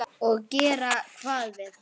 Og gera hvað við hann?